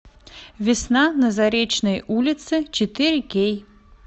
весна на заречной улице четыре кей